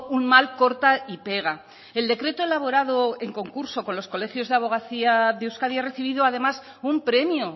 un mal corta y pega el decreto elaborado en concurso con los colegios de abogacía de euskadi ha recibido además un premio